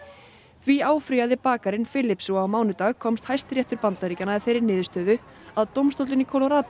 því áfrýjaði bakarinn Phillips og á mánudag komst Hæstiréttur Bandaríkjanna að þeirri niðurstöðu að dómstóllinn í